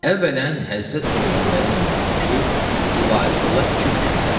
Əvvələn Həzrət Peyğəmbərin namazıdır ki, ibarət ola iki rükətdən.